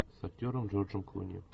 с актером джорджем клуни